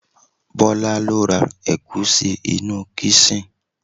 Bola lo ra egusi inú kisin